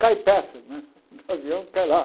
Cai peça né, o avião cai lá.